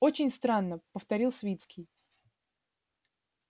очень странно повторил свицкий